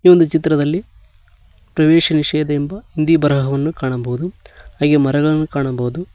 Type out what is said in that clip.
ಈ ಒಂದು ಚಿತ್ರದಲ್ಲಿ ಪ್ರವೇಶ ನಿಷೇಧ ಎಂಬ ಹಿಂದಿ ಬರಹವನ್ನು ಕಾಣಬಹುದು ಹಾಗೆ ಮರಗಳನ್ನು ಕಾಣಬಹುದು.